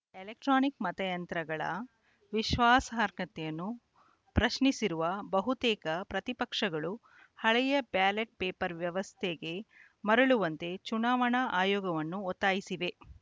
electronic ಮತಯಂತ್ರಗಳ ವಿಶ್ವಾಸಾರ್ಹತೆಯನ್ನು ಪ್ರಶ್ನಿಸಿರುವ ಬಹುತೇಕ ಪ್ರತಿಪಕ್ಷಗಳು ಹಳೆಯ ಬ್ಯಾಲೆಟ್‌ ಪೇಪರ್‌ ವ್ಯವಸ್ಥೆಗೆ ಮರಳುವಂತೆ ಚುನಾವಣಾ ಆಯೋಗವನ್ನು ಒತ್ತಾಯಿಸಿವೆ